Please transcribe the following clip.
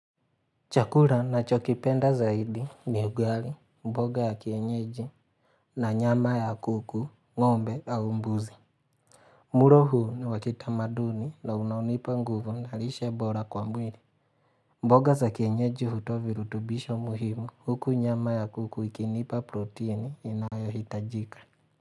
Chakula nachokipenda zaidi ni ugali, mboga ya kienyeji na nyama ya kuku, ngombe au mbuzi. Mulo huu ni wa kitamaduni na unanipa nguvu na lishe bora kwa mwili. Mboga za kienyeji hutoa virutubisho muhimu huku nyama ya kuku ikinipa protini inayohitajika.